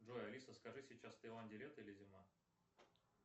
джой алиса скажи сейчас в таиланде лето или зима